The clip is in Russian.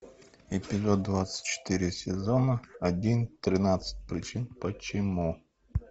эпизод двадцать четыре сезона один тринадцать причин почему